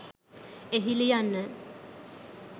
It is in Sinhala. එහි ලියන්න